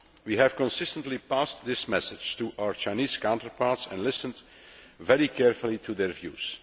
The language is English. We have consistently passed this message to our Chinese counterparts and listened very carefully to their views.